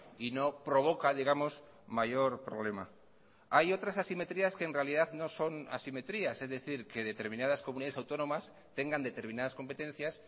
y no provoca digamos mayor problema hay otras asimetrías que en realidad no son asimetrías es decir que determinadas comunidades autónomas tengan determinadas competencias